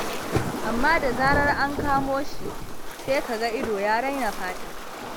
Amma da zarar an kamo shi, sai ka ga ido ya raina fata.